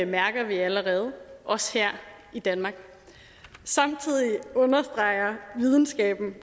mærker vi allerede også her i danmark samtidig understreger videnskaben